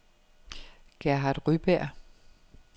Gerhard Ryberg